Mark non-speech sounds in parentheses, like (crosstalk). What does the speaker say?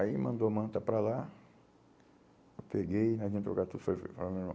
Aí mandou a manta para lá, eu peguei, a gente (unintelligible) meu irmão.